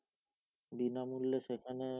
বিনামূল্যে সেখানে